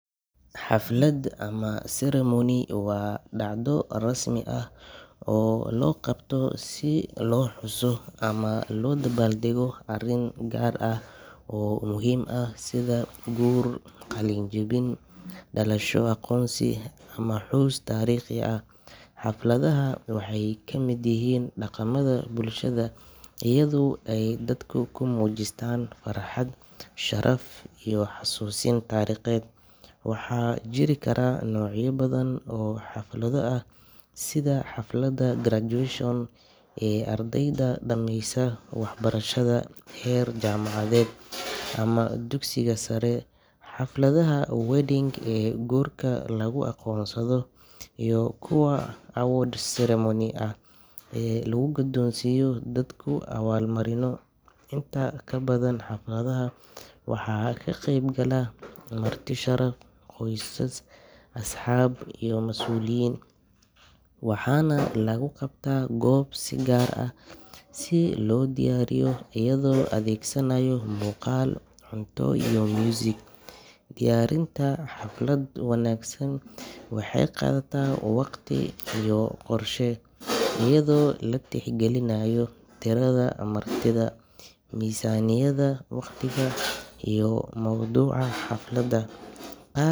Xaflad ama ceremony waa dhacdo rasmi ah oo loo qabto si loo xuso ama loo dabaaldego arrin gaar ah oo muhiim ah sida guur, qalin-jabin, dhalasho, aqoonsi, ama xus taariikhi ah. Xafladaha waxay ka mid yihiin dhaqamada bulshada iyadoo ay dadka ku muujistaan farxad, sharaf iyo is-xasuusin taariikheed. Waxaa jiri kara noocyo badan oo xaflado ah sida xafladda graduation ee ardayda dhamaysa waxbarashada heer jaamacadeed ama dugsiga sare, xafladaha wedding ee guurka lagu aqoonsado, iyo kuwa award ceremony ah ee lagu guddoonsiiyo dadku abaalmarino. Inta badan xafladaha waxaa ka qaybgala marti sharaf, qoysas, asxaab iyo masuuliyiin, waxaana lagu qabtaa goob si gaar ah loo diyaariyay iyadoo la adeegsanayo muuqaal, cunto iyo muusig. Diyaarinta xaflad wanaagsan waxay qaadataa waqti iyo qorshe, iyadoo la tixgelinayo tirada martida, miisaaniyadda, waqtiga, iyo mawduuca.